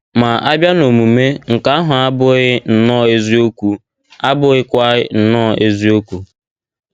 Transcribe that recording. Ma, a bịa n’omume, nke ahụ abụkwaghị nnọọ eziokwu abụkwaghị nnọọ eziokwu.